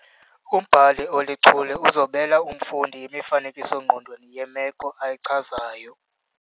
Umbhali olichule uzobela umfundi imifanekiso-ngqondweni yemeko ayichazayo.